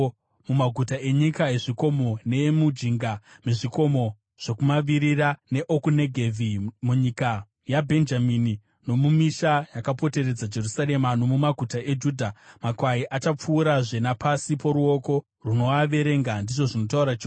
Mumaguta enyika yezvikomo, neemujinga mezvikomo zvokumavirira neokuNegevhi, munyika yaBhenjamini, nomumisha yakapoteredza Jerusarema nomumaguta eJudha, makwai achapfuurazve napasi poruoko rwounoaverenga,’ ndizvo zvinotaura Jehovha.